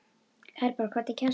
Herborg, hvernig kemst ég þangað?